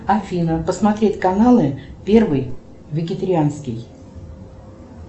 афина посмотреть каналы первый вегетарианский